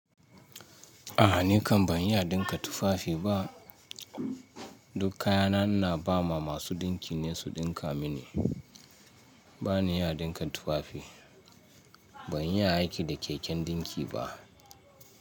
A'a ni kam ban iya dinka tufafi ba. Duk kayana ina ba ma masu dinki ne su dinka mini. Ba ni iya dinka tufafi. Ban iya aiki da keken dinki ba.